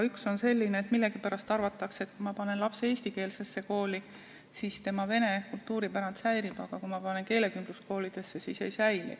Üks on selline, et millegipärast arvatakse, et kui panna laps eestikeelsesse kooli, siis tema vene kultuuritaust säilib, aga kui panna keelekümbluskooli, siis ei säili.